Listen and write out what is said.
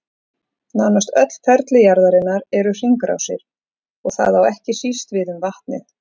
Nánast öll ferli jarðarinnar eru hringrásir, og það á ekki síst við um vatnið.